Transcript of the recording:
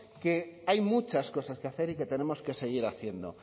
que hay muchas cosas que hacer y que tenemos que seguir haciendo